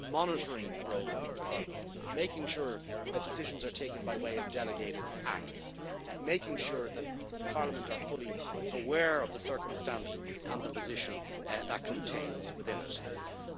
and a monitoring role for Parliament, making sure that decisions are taken by way of delegated acts, making sure that Parliament is fully aware of the circumstances and the position contained in decisions.